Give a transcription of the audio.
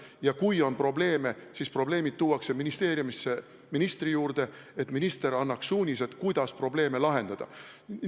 Ja kui on probleeme, siis probleemid jõuavad ministeeriumisse ministrini, et minister annaks suunised, kuidas neid lahendada.